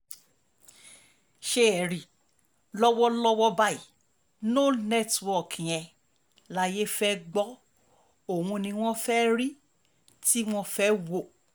ṣé ẹ rí lọ́wọ́lọ́wọ́ báyìí no network yẹn láyé fẹ́ẹ́ gbọ́ òun ni wọ́n fẹ́ẹ́ rí tí wọ́n fẹ́ẹ́ wò